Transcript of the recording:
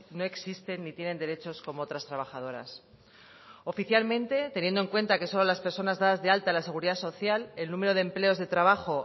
no existen ni tienen derechos como otras trabajadoras oficialmente teniendo en cuenta que solo las personas dadas de alta en la seguridad social el número de empleos de trabajo